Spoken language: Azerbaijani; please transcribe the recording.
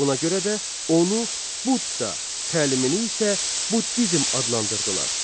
Buna görə də onu Budda, təlimini isə Buddizm adlandırdılar.